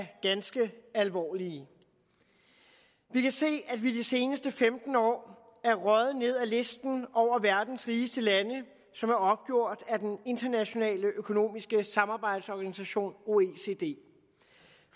ganske alvorlige vi kan se at vi de seneste femten år er røget ned ad listen over verdens rigeste lande som er opgjort af den internationale økonomiske samarbejdsorganisation oecd